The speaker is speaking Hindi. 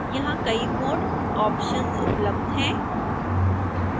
यहां कई mode ऑप्शन्स उपलब्ध हैं